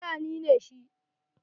Fulani ne shi.